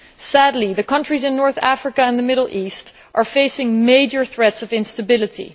Sadly, the countries in North Africa and the Middle East face major threats of instability.